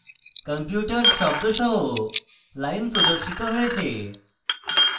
computers শব্দ সহ lines প্রদর্শিত হয়েছে